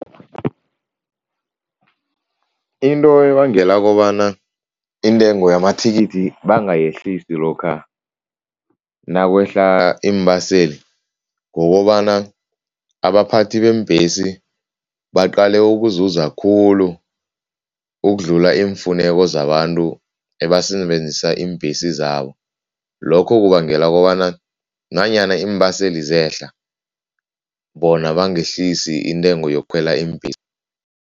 Into ebangela kobana intengo yamathikithi bangayehlisi lokha nakwehla iimbaseli kukobana abaphathi beembhesi baqale ukuzuza khulu ukudlula iimfuneko zabantu ebasebenzisa iimbhesi zabo. Lokho kubangela kobana nanyana iimbaseli zehla, bona bangehlisi intengo yokukhwela iimbhesi.